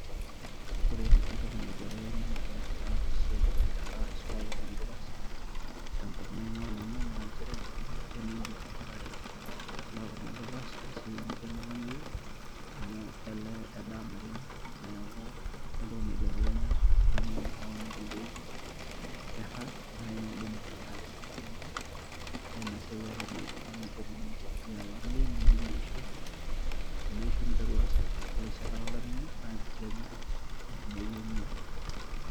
Ore entoki naibelekenya ena siai o nkera isul kuna oldurpas tenkop naing'ua nanu njere kemiidim kuna tare isulaki kuna durpas esiai naijo eno lameyu amu elee edaa naleng' neeku kore entoki naibelekenya naa pee eyauni nkuliek kera nai naidim ataa kiidim olameyu na ina siai olameyu amu midim ninje pii olameyu, nemidimu eishoi, teneisho neseshu. Ore sii enkata olameyu naake itaanya enkumoi enye oleng'.